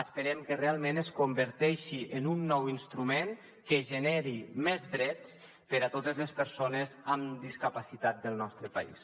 esperem que realment es converteixi en un nou instrument que generi més drets per a totes les persones amb discapacitat del nostre país